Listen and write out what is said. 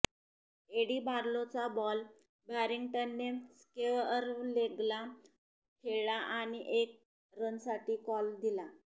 eddy बार्लोचा ball बॅरींग्टनने स्क्वेअरलेगला खेळला आणि एक रनसाठी कॉल दिला